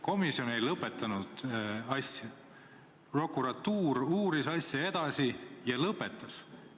Komisjon ei lõpetanud asja, prokuratuur uuris seda edasi ja lõpetas asja?